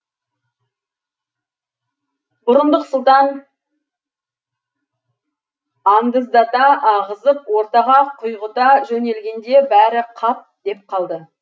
бұрындық сұлтан андыздата ағызып ортаға құйғыта жөнелгенде бәрі қап деп қалды